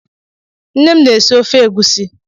Nnem na-esi ofe agụsị